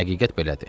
Həqiqət belədir.